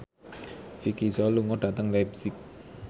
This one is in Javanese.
Vicki Zao lunga dhateng leipzig